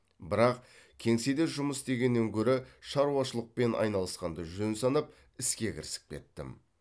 бірақ кеңседе жұмыс істегеннен гөрі шаруашылықпен айналысқанды жөн санап іске кірісіп кеттім